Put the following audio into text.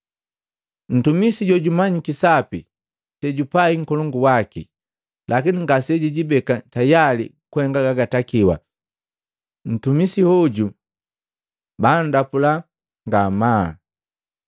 “Ntumisi jojumanyiki sapi sejupai nkolongu waki, lakini ngasejijibeka tayali kuhenga gagatakiwa, ntumi hoju bundapula ngamaa.